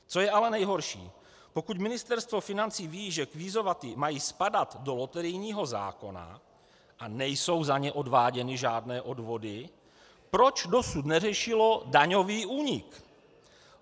Co je ale nejhorší, pokud Ministerstvo financí ví, že kvízomaty mají spadat do loterijního zákona a nejsou za ně odváděny žádné odvody, proč dosud neřešilo daňový únik?